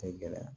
Tɛ gɛlɛya